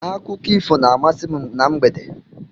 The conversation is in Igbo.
Akụkọ ifo na-amasị m na mgbede.